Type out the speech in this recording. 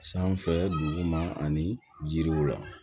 Sanfɛ dugu ma ani jiriw la